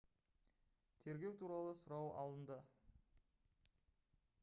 тергеу туралы сұрау алынды